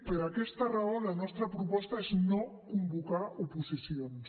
per aquesta raó la nostra proposta és no convocar oposicions